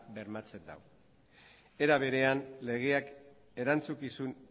bermatzen dau era berean legeak erantzukizun